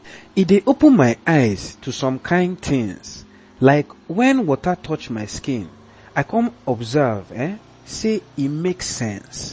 e dey open my eyes to some kain tins like when water touch my skin i come observe say e make sense